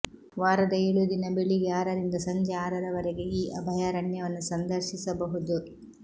ವಾರದ ಏಳೂ ದಿನ ಬೆಳಿಗ್ಗೆ ಆರರಿಂದ ಸಂಜೆ ಆರರವರೆಗೆ ಈ ಅಭಯಾರಣ್ಯವನ್ನು ಸಂದರ್ಶಿಸಬಹುದು